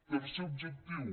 tercer objectiu